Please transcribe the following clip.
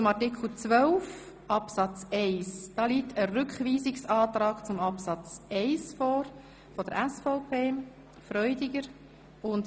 Zu Artikel 12 Absatz 1 liegt ein Rückweisungsantrag SVP Freudiger vor.